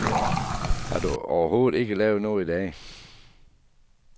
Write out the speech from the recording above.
Har du overhovedet ikke lavet noget i dag?